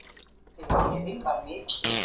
Gleðin var mikil.